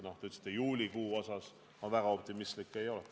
Aga juulikuu osas ma väga optimistlik ei oleks.